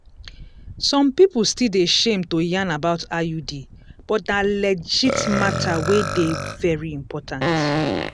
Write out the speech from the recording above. some people still dey shame to yarn about iud but na legit matter wey dey very important.